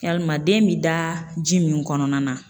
Yalima den bi da ji min kɔnɔna na